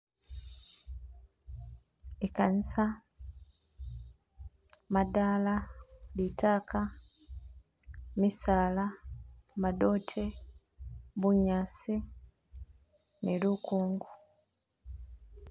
Ikanisa, madala. litaaka, misaala, madote, bunyasi ni lukungu.